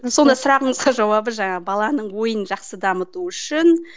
сонда сұрағыңызға жауабы жаңа баланың ойын жақсы дамыту үшін